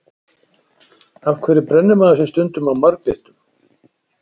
af hverju brennir maður sig stundum á marglyttum